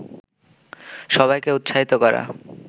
সবাইকে উৎসাহিত করা